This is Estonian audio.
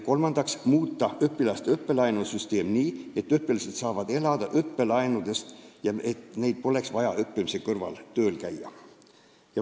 Kolmandaks tuleb muuta õpilaste õppelaenusüsteemi nii, et õpilased saaksid elada õppelaenudest, ilma et neil oleks vaja õppimise kõrvalt tööl käia.